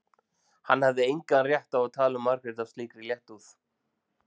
Hann hafði engan rétt á að tala um Margréti af slíkri léttúð.